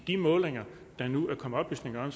de målinger der nu er kommet oplysninger